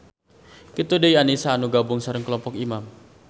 Kitu deui Anisa anu gabung sareng kelompok Imam.